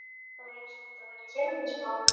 Það var eins og þetta væri feimnismál.